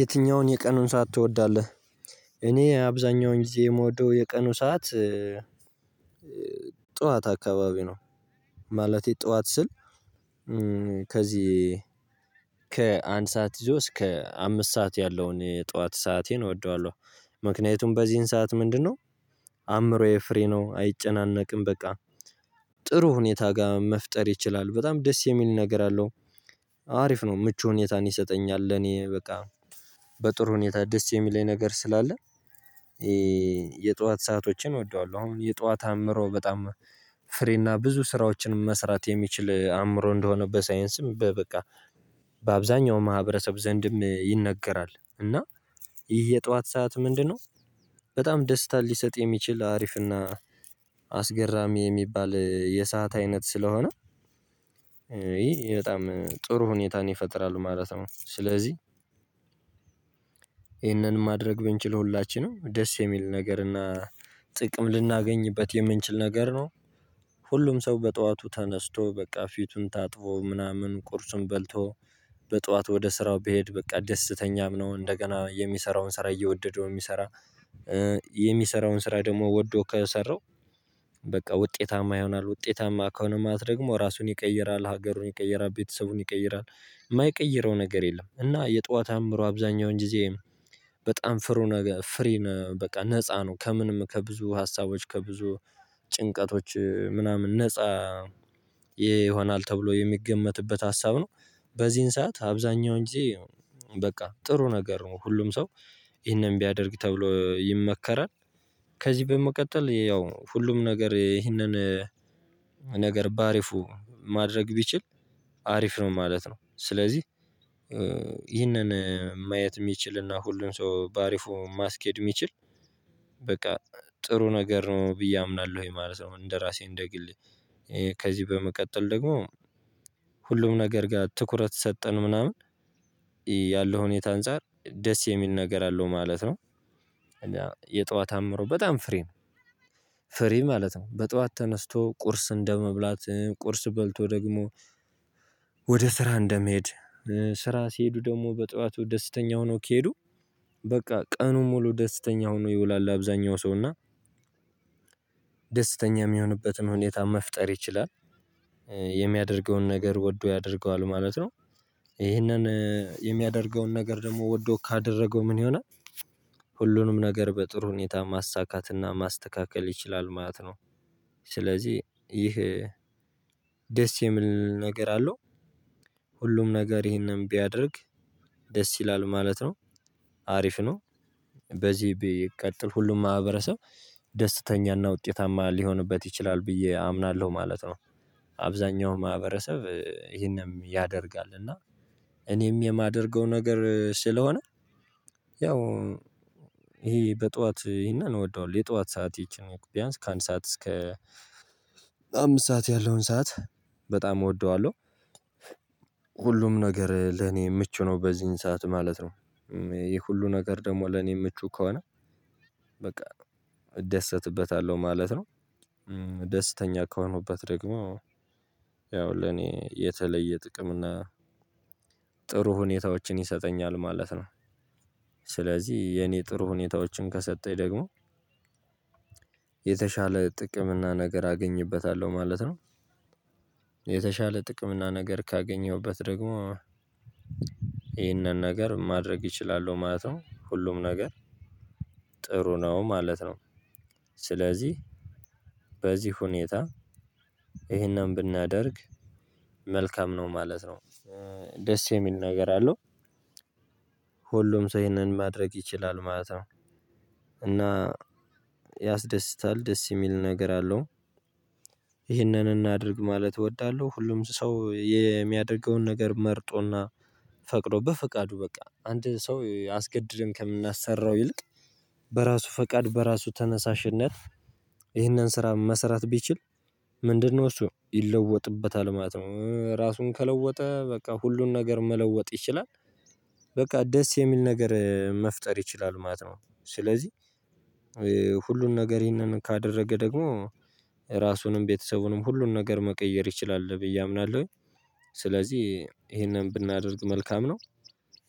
የትኛውን የቀኑን ሰዓት ትወዳለህ? እኔ አብዛኛውን ጊዜ የምወደው የቀኑ ሰዓት ጠዋት አካባቢ ነው። ማለቴ ጠዋት ስል ከዚህ ከአንድ ሰዓት ይዞ እስከ አምስት ሰዓት ያለውን ጠዋት ሰአቴን እወደዋለሁ። ምክንያቱም በዚህን ሰዓት ምንድነው? አእምሮዬ ፍሬ ነው አይጨናነቅም በቃ ጥሩ ሁኔታ ጋር መፍጠር ይችላል በጣም ደስ የሚል ነገር አለው። አሪፍ ነው ምቹ ሁኔታን ይሰጠኛል እኔ በቃ በጥሩ ሁኔታ ደስ የሚለኝ ነገር ስላለ። የጧት ሰአቶችን እወደዋለሁ። አሁን የጧት አምሮ በጣም ፍሬና ብዙ ስራዎችን መስራት የሚችል አምሮ እንደሆነ በሳይንስም በቃ በአብዛኛው ማህበረሰብ ዘንድም ይነገራል። እና ይህ የጠዋት ሰዓት ምንድነው? በጣም ደስታ ሊሰጥ የሚችል አሪፍና አስገራሚ የሚባል የሰዓት አይነት ስለሆነ ይሄ በጣም ጥሩ ሁኔታን ይፈጥራሉ ማለት ነው። ስለዚህ ይህንን ማድረግ ብንችል ሁላችንም ደስ የሚል ነገር እና ጥቅም ልናገኝበት የምንችል ነገር ነው። ሁሉም ሰው በጠዋቱ ተነስቶ በቃ ፊቱን ታጥቦ ምናምን ቁርሱን በልቶ በጧት ወደ ስራው ቢሄድ በቃ ደስተኛም ነው እንደገና የሚሰራውን ስራ እየወደደው የሚሰራ። የሚሰራውን ስራ ደግሞ ወዶ ከሰራው በቃ ውጤታማ ይሆናል ውጤታማ ከሆነ ማለት ደግሞ ራሱን ይቀይራል ሀገሩን ይቀይራል ቤተሰቡን ይቀይራል። እማይቀይረው ነገር የለም። እና የጧት አምሮ አብዛኛውን ጊዜ በጣም ፍሩ ነገ ፍሪ ነው በቃ ነፃ ነው ከምንም ከብዙ ሀሳቦች ከብዙ ጭንቀቶች ምናምን ነፃ ይሆናል ተብሎ የሚገመትበት ሀሳብ ነው። በዚህን ሰዓት አብዛኛው እንጂ በቃ ጥሩ ነገር ነው። ሁሉም ሰው ይህንን ቢያደርግ ተብሎ ይመከራል። ከዚህ በመቀጠል ያው ሁሉም ነገር ይህንን ነገር በአሪፉ ማድረግ ቢችል አሪፍ ነው ማለት ነው። ስለዚህ ይህንን ማየት የሚችልና ሁሉም ሰው በአሪፉ ማስኬድ የሚችል በቃ ጥሩ ነገር ነው ብዬ አምናለሁኝ ይሄ ማለት ነው። እንደራሴ እንደ ግሌ ከዚህ በመቀጠል ደግሞ ሁሉም ነገር ጋር ትኩረት ሰጠን ምናምን ያለው ሁኔታ አንፃር ደስ የሚል ነገር አለው ማለት ነው። የጧት አምሮ በጣም ፍሬ ነው። ፍሬ ማለት ነው በጧት ተነስቶ ቁርስ እንደመብላት ቁርስ በልቶ ደግሞ ወደ ስራ እንደመሄድ። ስራ ሲሄዱ ደግሞ በጠዋቱ ደስተኛ ሆኖ ከሄዱ በቃ ቀኑን ሙሉ ደስተኛ ሆኖ ይውላል። አብዛኛው ሰው እና ደስተኛ የሚሆንበትን ሁኔታ መፍጠር ይችላል። የሚያደርገውን ነገር ወዶ ያደርገዋል ማለት ነው። ይሄንን የሚያደርገውን ነገር ደግሞ ወዶ ካደረገው ምን ይሆናል? ሁሉንም ነገር በጥሩ ሁኔታ ማሳካትና ማስተካከል ይችላል ማለት ነው። ስለዚህ ይህ ደስ የሚል ነገር አለው። ሁሉም ነገር ይሄንን ቢያደርግ ደስ ይላል ማለት ነው። አሪፍ ነው። በዚህ ቢቀጥል ሁሉም ማህበረሰብ ደስተኛና ውጤታማ ሊሆንበት ይችላል ብዬ አምናለሁ ማለት ነው። አብዛኛው ማህበረሰብ ይሄንም ያደርጋል እና እኔም የማደርገው ነገር ስለሆነ። ያው ይሄ በጧት እና እወደዋለሁ የጧት ሰዓት ይቺ ነው ቢያንስ ከአንድ ሰዓት እስከ አምስት ሰዓት ያለውን ሰዓት በጣም እወደዋለሁ። ሁሉም ነገር ለኔ ምቹ ነው በዚህን ሰዓት ማለት ነው። ይሄ ሁሉ ነገር ደግሞ ለኔ ምቹ ከሆነ በቃ እደሰትበታለሁ ማለት ነው። ደስተኛ ከሆኑበት ደግሞ ያው ለኔ የተለየ ጥቅም እና ጥሩ ሁኔታዎችን ይሰጠኛል ማለት ነው። ስለዚህ የኔ ጥሩ ሁኔታዎችን ከሰጠኝ ደግሞ የተሻለ ጥቅም እና ነገር አገኝበታለሁ ማለት ነው። የተሻለ ጥቅም እና ነገር ካገኘሁበት ደግሞ ይህንን ነገር ማድረግ እችላለሁ ማለት ነው። ሁሉም ነገር ጥሩ ነው ማለት ነው። ስለዚህ በዚህ ሁኔታ ይሄንን ብናደርግ መልካም ነው ማለት ነው። ደስ የሚል ነገር አለው። ሁሉም ሰው ይህንን ማድረግ ይችላል ማለት ነው። እና ያስደስታል ደስ የሚል ነገር አለው። ይህንን እናድርግ ማለት እወዳለሁ። ሁሉም ሰው የሚያደርገውን ነገር መርጦና ፈቅዶ በፍቃዱ በቃ አንድ ሰው አስገድደን ከምናሰራው ይልቅ በራሱ ፈቃድ በራሱ ተነሳሽነት። ይህንን ስራ መሰራት ቢችል ምንድነው እሱ ይለወጥበታል ማለት ነው። ራሱን ከለወጠ በቃ ሁሉን ነገር መለወጥ ይችላል። በቃ ደስ የሚል ነገር መፍጠር ይችላል ማለት ነው። ስለዚህ ሁሉን ነገር ይሄንን ካደረገ ደግሞ ራሱንም ቤተሰቡንም ሁሉን ነገር መቀየር ይችላል ብዬ አምናለሁኝ። ስለዚህ ይሄንን ብናደርግ መልካም ነው።